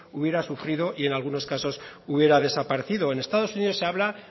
hubiera sufrido y en algunos casos hubiera desaparecido en estado unidos se habla